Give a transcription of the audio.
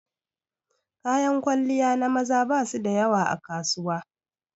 Kayan kwalliya na maza ba su da yawa a kasuwa.